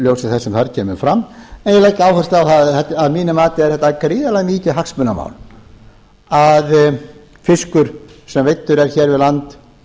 þess sem þar kemur fram en ég legg áherslu á að mínu mati er þetta gríðarlega mikið hagsmunamál að fiskur sem veiddur er hér við land